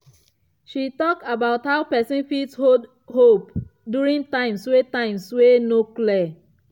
she talk about how person fit hold hope during times wey times wey no clear.